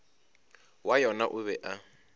wa yona o be a